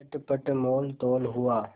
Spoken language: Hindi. चटपट मोलतोल हुआ